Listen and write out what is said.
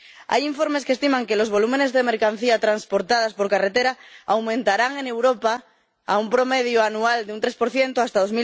Hay informes que estiman que los volúmenes de mercancías transportadas por carretera aumentarán en Europa a un promedio anual de un 3 hasta